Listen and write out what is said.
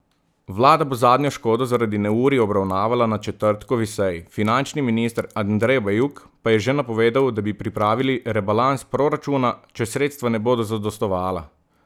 Vlada bo zadnjo škodo zaradi neurij obravnavala na četrtkovi seji, finančni minister Andrej Bajuk pa je že napovedal, da bi pripravili rebalans proračuna, če sredstva ne bodo zadostovala.